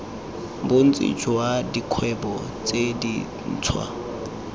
bontsi jwa dikgwebo tse dintshwa